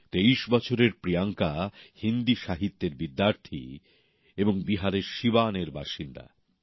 তেইশ বছরের প্রিয়াঙ্কা হিন্দী সাহিত্যের ছাত্রী এবং বিহারের সিওয়ানের বাসিন্দা